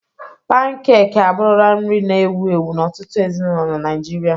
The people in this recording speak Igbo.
Pankek abụrụla nri na-ewu ewu n'ọtụtụ ezinụlọ na Naịjirịa.